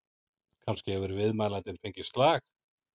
Kannski hefur viðmælandinn fengið slag?